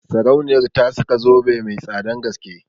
Sarauniyar ta saka zobe mai tsadan gaske